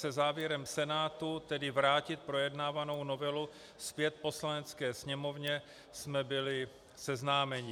Se závěrem Senátu, tedy vrátit projednávanou novelu zpět Poslanecké sněmovně, jsme byli seznámeni.